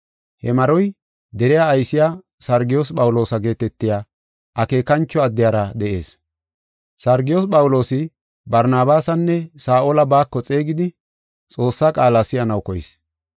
He maroy deriya aysiya Sargiyoos Phawuloosa geetetiya akeekancho addiyara de7ees. Sargiyoos Phawuloosi Barnabaasanne Saa7ola baako xeegidi Xoossaa qaala si7anaw koyis.